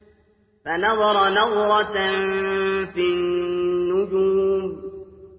فَنَظَرَ نَظْرَةً فِي النُّجُومِ